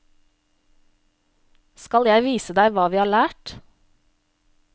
Skal jeg vise deg hva vi har lært?